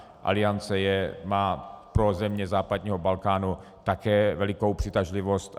Aliance má pro země západního Balkánu také velikou přitažlivost.